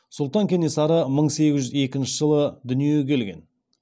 сұлтан кенесары мың сегіз жүз екінші жылы дүниеге келген